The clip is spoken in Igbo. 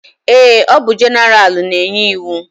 Eé, ọ bụ jeneralụ na-enye iwu.